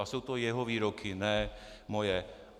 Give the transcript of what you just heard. A jsou to jeho výroky, ne moje.